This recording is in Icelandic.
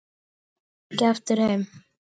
Hún kom ekki aftur heim.